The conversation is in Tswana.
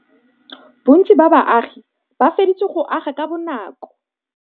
Bontsi ba baagi ba feditse go aga ka bonakô.